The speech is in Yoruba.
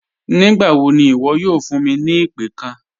Nígbàwọ́ ní iwo̩ yóò fún mi ni ìpẹ̀ kán?